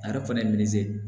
A yɛrɛ fana ye